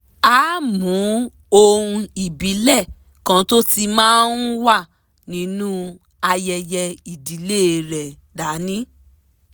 a ámú ohun ìbílẹ̀ kan tó ti máa ń wà nínú ayẹyẹ ìdílé rẹ dání